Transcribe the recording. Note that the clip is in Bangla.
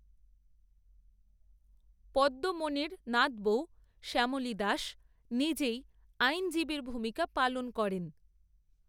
পদ্মমণির নাতবৌ, শ্যামলী দাস, নিজেই আইনজীবীর ভূমিকা পালন করেন